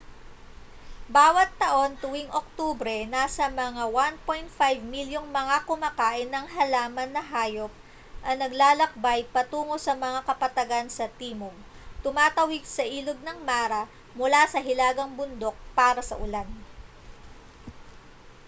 bawat taon tuwing oktubre nasa mga 1.5 milyong mga kumakain ng halaman na hayop ang naglalakbay patungo sa mga kapatagan sa timog tumatawid sa ilog ng mara mula sa hilagang bundok para sa ulan